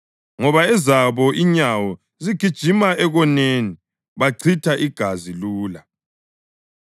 ngoba ezabo inyawo zigijima ekoneni, bachitha igazi lula.